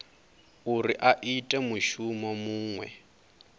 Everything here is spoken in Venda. uri a ite mushumo muṅwe